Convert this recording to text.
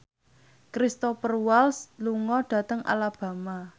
Cristhoper Waltz lunga dhateng Alabama